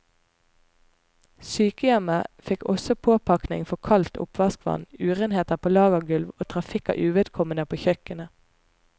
Sykehjemmet fikk også påpakning for kaldt oppvaskvann, urenheter på lagergulv og trafikk av uvedkommende på kjøkkenet.